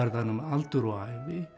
hann um aldur og ævi